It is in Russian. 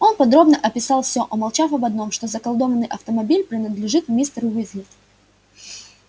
он подробно описал все умолчав об одном что заколдованный автомобиль принадлежит мистеру уизли